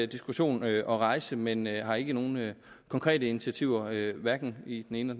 diskussion at rejse men jeg har ikke nogen konkrete initiativer hverken i den ene